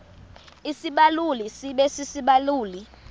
isibaluli sibe sisibaluli